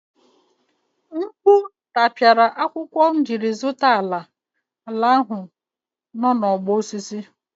Mkpu tapiara akwụkwọ m jiri zụta ala ahụ nọ n'ọgbọ osisi.